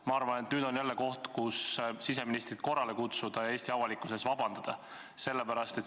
Ma arvan, et nüüd on jälle koht, kus võiks siseministrit korrale kutsuda ja Eesti avalikkuse ees vabandust paluda.